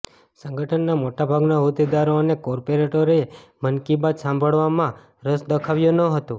સંગઠનના મોટાભાગના હોદ્દેદારો અને કોર્પોરેટરોએ મન કી બાત સાંભળવામાં રસ દાખવ્યો ન હતો